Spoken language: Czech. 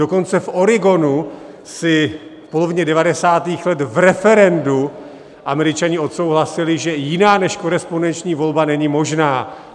Dokonce v Oregonu si v polovině devadesátých let v referendu Američani odsouhlasili, že jiná než korespondenční volba není možná.